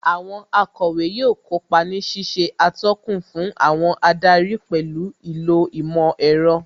Àwọn akọ̀wé yóò kópa ní ṣíṣe atọ́kùn fún àwọn adarí pẹ̀lú ìlò ìmọ̀ ẹ̀rọ